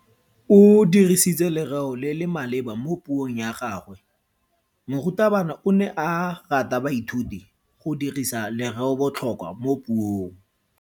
O dirisitse lereo le le maleba mo puong ya gagwe. Morutabana o ne a ruta baithuti go dirisa lereobotlhokwa mo puong.